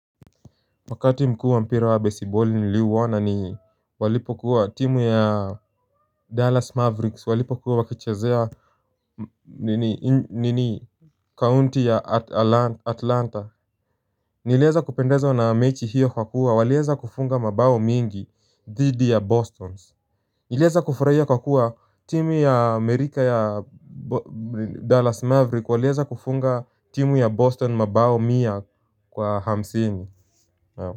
Wakati mku wa mpira wa baseballi niliuona ni walipo kuwa timu ya Dallas Mavericks walipo kuwa wakichazea nini nini kaunti ya atalanta Nileza kupendeza na mechi hiyo kwa kuwa waleza kufunga mabao mingi dhidi ya boston. Nileza kufurahia kwa kuwa timu ya amerika ya Dallas Mavericks waleza kufunga timu ya boston mabao mia kwa hamsini ya.